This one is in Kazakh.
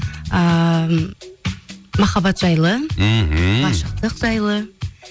ыыы махаббат жайлы мхм ғашықтық жайлы